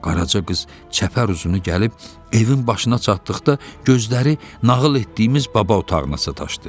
Qaraca qız çəpər uzunu gəlib evin başına çatdıqda gözləri nağıl etdiyimiz baba otağına sataşdı.